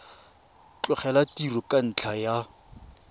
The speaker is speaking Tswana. tlogela tiro ka ntlha ya